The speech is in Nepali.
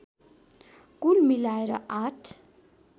कुल मिलाएर आठ